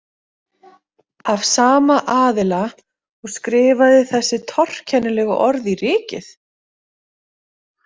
Af sama aðila og skrifaði þessi torkennilegu orð í rykið?